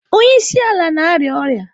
Onye isi ala na-arịa ọrịa.